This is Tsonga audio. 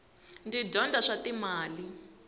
ndzi dyondza swa timali